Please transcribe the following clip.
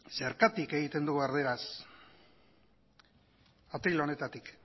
zergatik egiten dugu erdaraz atril honetatik